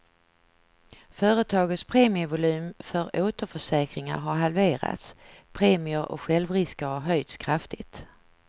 Företagets premievolym för återförsäkringar har halverats, premier och självrisker har höjts kraftigt.